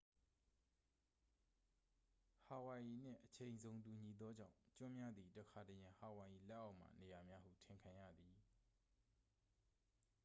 ဟာဝိုင်ရီနှင့် အချိန်ဇုန်တူညီနေသောကြောင့် ကျွန်းများသည် တခါတရံ ဟာဝိုင်ရီလက်အောက်မှ နေရာများဟုထင်ခံရသည်